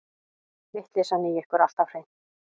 Vitleysan í ykkur alltaf hreint.